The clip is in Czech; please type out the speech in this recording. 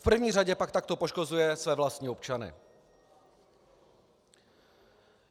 V první řadě pak takto poškozuje své vlastní občany.